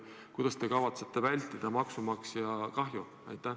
Kuidas te kavatsete vältida maksumaksja kahju?